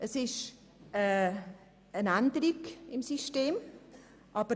Es handelt sich um eine Systemänderung.